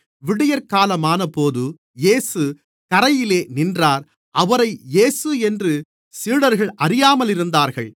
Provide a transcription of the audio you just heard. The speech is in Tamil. விடியற்காலமானபோது இயேசு கரையிலே நின்றார் அவரை இயேசு என்று சீடர்கள் அறியாமல் இருந்தார்கள்